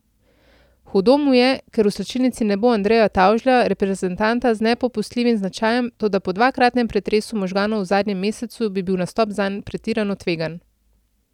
Hudo mu je, ker v slačilnici ne bo Andreja Tavžlja, reprezentanta z nepopustljivim značajem, toda po dvakratnem pretresu možganov v zadnjem mesecu bi bil nastop zanj pretirano tvegan.